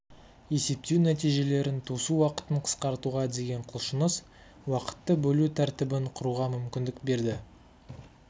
есептеу нәтижелерін тосу уақытын қысқартуға деген құлшыныс уақытты бөлу тәртібін құруға мүмкіндік берді